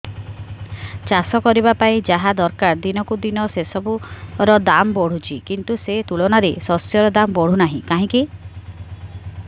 ଚାଷ କରିବା ପାଇଁ ଯାହା ଦରକାର ଦିନକୁ ଦିନ ସେସବୁ ର ଦାମ୍ ବଢୁଛି କିନ୍ତୁ ସେ ତୁଳନାରେ ଶସ୍ୟର ଦାମ୍ ବଢୁନାହିଁ କାହିଁକି